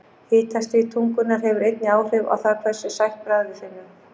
Hitastig tungunnar hefur einnig áhrif á það hversu sætt bragð við finnum.